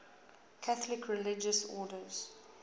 catholic religious order